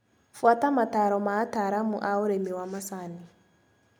Bũata mataro ma ataramu a ũrĩmi wa macani.